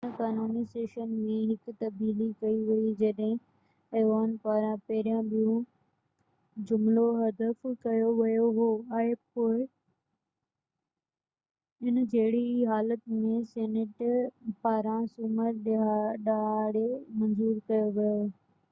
هن قانوني سيشن ۾ هڪ تبديلي ڪئي وئي جڏهن ايوان پاران پهريان ٻيون جملو حذف ڪيو ويو هو ۽ پوءِ ان جهڙي ئي حالت ۾ سينيٽ پاران سومر ڏهاڙي منظور ڪيو ويو